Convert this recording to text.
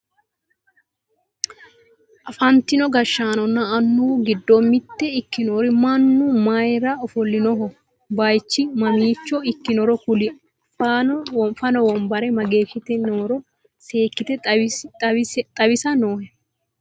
afantino gashshaanonna annuwu giddo mitto ikkinori mannu mayeera ofollinoho? bayeechu mamiicho ikkinoro kuli? fano wonbare mageeshshite nooro seekkite xawisa noohe?